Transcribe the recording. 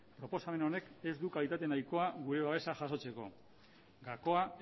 proposamen honek ez du kalitate nahikoa gure babesa jasotzeko gakoa